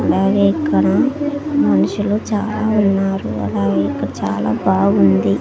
అలాగే ఇక్కన మనుషులు చాలా ఉన్నారు అలాగే ఇక్కడ చాలా బాగుంది.